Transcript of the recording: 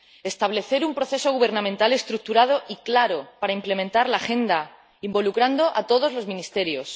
establecer un proceso gubernamental estructurado y claro para implementar la agenda, involucrando a todos los ministerios